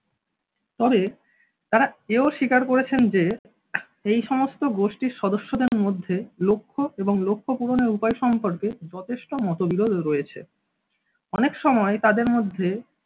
তবে তারা এও স্বীকার করেছেন যে এই সমস্ত গোষ্ঠীর সদস্যদের মধ্যে লক্ষ্য এবং লক্ষ্য পূরণের উপায় সম্পর্কে যথেষ্ট মতবিরোধ রয়েছে। অনেক সময় তাদের মধ্যে